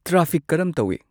traffic ꯀꯔꯝ ꯇꯧꯏ